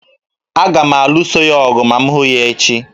Aga m alụso ya ọgụ ma m hụ ya echi